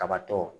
Kabatɔ